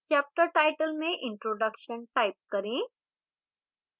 chapter title में introduction type करें